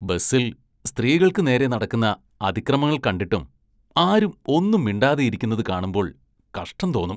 ബസില്‍ സ്ത്രീകള്‍ക്ക് നേരെ നടക്കുന്ന അതിക്രമങ്ങള്‍ കണ്ടിട്ടും ആരും ഒന്നും മിണ്ടാതെയിരിക്കുന്നത് കാണുമ്പോള്‍ കഷ്ടം തോന്നും.